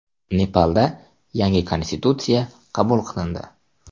Nepalda yangi konstitutsiya qabul qilindi.